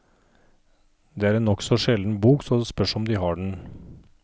Det er en nokså sjelden bok, så det spørs om de har den.